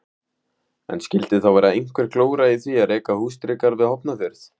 En skildi þá vera einhver glóra í því að reka húsdýragarð við Hornafjörð?